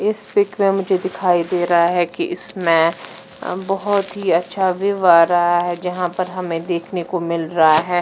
इस पिक में मुझे दिखाई दे रहा है कि इसमें बहुत अच्छा व्यू आ रहा है जहाँ पे हमे देखने को मिल रहा है--